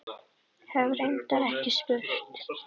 Hef reyndar ekki spurt.